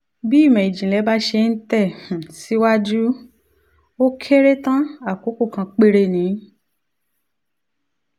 bí ìmọ̀ ìjìnlẹ̀ bá ṣe ń tẹ̀ um síwájú ó kéré tán àkókò kan péré ni